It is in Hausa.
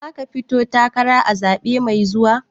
Zaka fito takara a zaɓe mai zuwa?